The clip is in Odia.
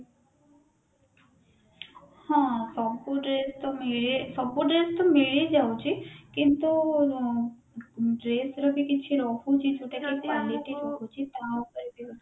ହଁ ସବୁ dress ତ ମିଳେ ସବୁ dress ତ ମିଳଯାଉଛି କିନ୍ତୁ dress ର ବି କିଛି ରହୁଛି ଯୋଉଟା କି quality ରହୁଛି ତା ପାଇଁ ବି